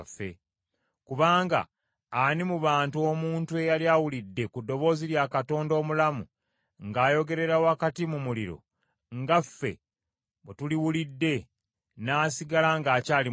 Kubanga, ani mu bantu omuntu eyali awulidde ku ddoboozi lya Katonda omulamu ng’ayogerera wakati mu muliro, nga ffe bwe tuliwulidde, n’asigala ng’akyali mulamu?